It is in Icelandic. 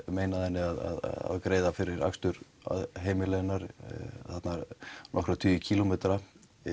meinaði henni að greiða fyrir akstur að heimili hennar þarna nokkra tugi kílómetra